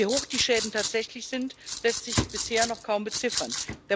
Doch wie hoch die Schäden tatsächlich sind, lässt sich bisher noch kaum beziffern.